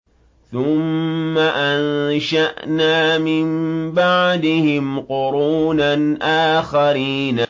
ثُمَّ أَنشَأْنَا مِن بَعْدِهِمْ قُرُونًا آخَرِينَ